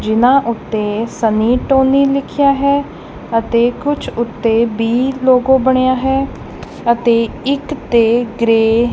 ਜਿਨਾਂ ਉੱਤੇ ਸਮੀਟੋਨੀ ਲਿਖਿਆ ਹੈ ਅਤੇ ਕੁਝ ਉੱਤੇ ਬੀ ਲੋਗੋ ਬਣਿਆ ਹੈ ਅਤੇ ਇੱਕ ਤੇ ਗ੍ਰੇਯ